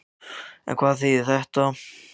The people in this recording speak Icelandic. En hvað þýðir þetta fyrir aðalmeðferð málsins?